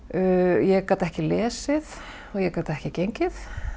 ég gat ekki lesið og ég gat ekki gengið